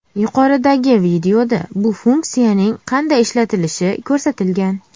Yuqoridagi videoda bu funksiyaning qanday ishlatilishi ko‘rsatilgan.